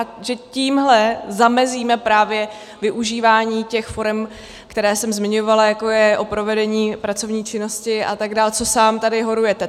A že tímhle zamezíme právě využívání těch forem, které jsem zmiňovala, jako je o provedení pracovní činnosti, a tak dále, co sám tady horujete.